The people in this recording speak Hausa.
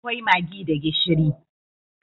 Akwai maggi da gishiri.